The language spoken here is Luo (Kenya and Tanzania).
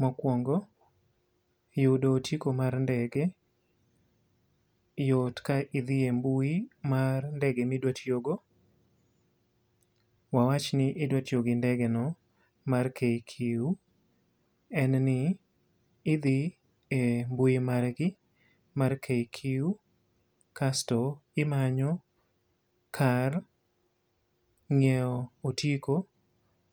Mokwongo yudo otiko mar ndege yot ka idhie mbui mar ndege ma idwa tiyogo. Wawachni idwa tiyo gi ndege no mar KQ, en ni, idhi e mbui margi mar KQ, kasto imanyo kar nyiewo otiko